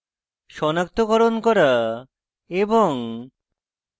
সনাক্তকরণ করা এবং